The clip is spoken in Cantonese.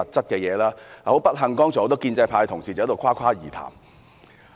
但很不幸，剛才很多建制派同事只在誇誇而談。